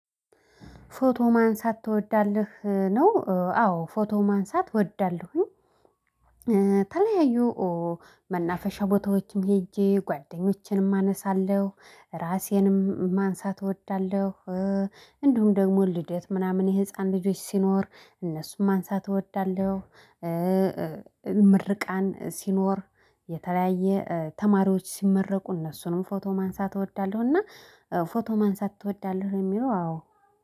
ፎቶ ማንሳት ትወዳለህ? ነው አዎ ፎቶ ማንሳት እወዳለሁኝ። መናፈሻ ቦታዎችም ሄጄ ጓደኞቼንም አነሳለሁ ራሴንም ማንሳት እወዳለሁ። እንዲሁም ደግሞ ልደት ምናምን የህፃን ልጆች ሲኖር እነሱም ማንሳት እወዳለሁ። ምርቃን ስኖር የተለያየ ተማሪዎች ስመረቁ እነሱንም ፎቶ ማንሳት እወዳለሁና ፎቶ ማንሳት ትወዳለህ የሚለው። አዎ?